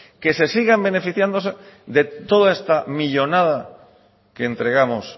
que se sigan beneficiándose de toda esta millónada que entregamos